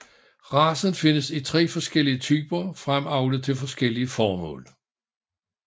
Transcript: Racen findes i tre forskellige typer fremavlet til forskellige formål